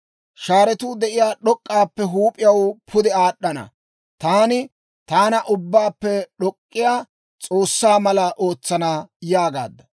Shaaretuu de'iyaa d'ok'k'aappekka huup'iyaw pude aad'd'ana; taani taana Ubbaappe d'ok'k'iyaa S'oossaa mala ootsana› yaagaadda.